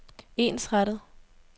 ensrettet